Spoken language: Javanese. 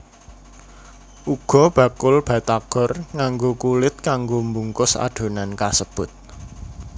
Uga bakul batagor nganggo kulit kanggo mbungkus adonan kasebut